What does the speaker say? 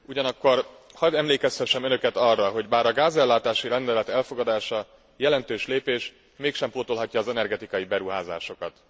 Ugyanakkor hadd emlékeztessem Önöket arra, bár a gázellátási rendelet elfogadása jelentős lépés, mégsem pótolhatja az energetikai beruházásokat.